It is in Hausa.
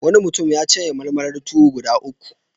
Wani mutum ya cinye malmalar tuwo guda uku.